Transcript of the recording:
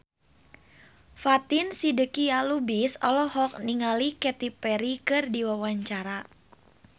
Fatin Shidqia Lubis olohok ningali Katy Perry keur diwawancara